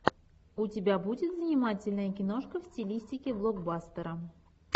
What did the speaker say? у тебя будет занимательная киношка в стилистике блокбастера